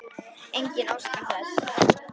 Enginn óskar þess.